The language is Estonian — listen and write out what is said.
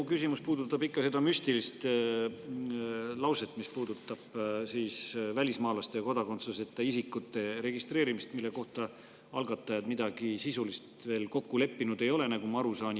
Mu küsimus puudutab seda müstilist lauset, mis puudutab välismaalaste ja kodakondsuseta isikute registreerimist, mille kohta algatajad midagi sisulist veel kokku leppinud ei ole, nagu ma aru saan.